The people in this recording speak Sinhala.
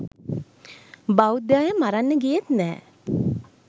බෞද්ධ අය මරන්න ගියෙත් නැ